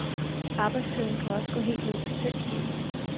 Arbejdstiden kan også gå helt ned til fem timer.